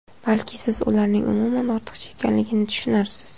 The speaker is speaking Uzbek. Balki siz ularning umuman ortiqcha ekanligini tushunarsiz.